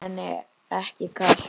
Samt var henni ekki kalt.